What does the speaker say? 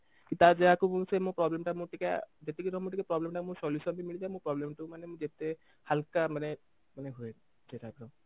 କି ତାର ଯାହାକୁ ସେ ମୋ problem ଟା ମୁଁ ଟିକେ ଯେତିକି ର ମୁଁ ଟିକେ problem ଟା ମୁଁ solution ବି ମିଳିଯାଏ ମୁଁ problem ଟା କୁ ମାନେ ମୁଁ ଯେତେ ହାଲକା ମାନେ ମାନେ ହୁଏ ସେଇ type ର